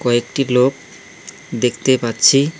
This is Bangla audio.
কয়েকটি লোক দেখতে পাচ্ছি।